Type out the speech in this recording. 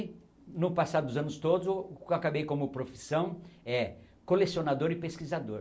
E, no passado dos anos todos, acabei como profissão eh colecionador e pesquisador.